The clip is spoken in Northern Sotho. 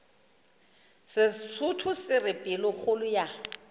sesotho se re pelokgolo ya